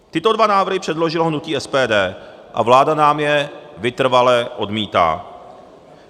Tyto dva návrhy předložilo hnutí SPD a vláda nám je vytrvale odmítá.